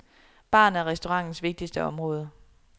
Baren er restaurantens vigtigste område.